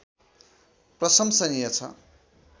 प्रशङ्सनिय छ